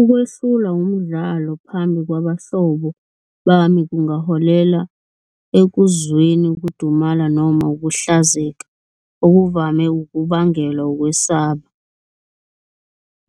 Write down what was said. Ukwehlulwa umdlalo phambi kwabahlobo bami kungaholela ekuzweni ukudumala noma ukuhlazeka okuvame ukubangelwa ukwesaba.